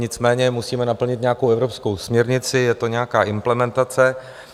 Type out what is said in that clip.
Nicméně musíme naplnit nějakou evropskou směrnici, je to nějaká implementace.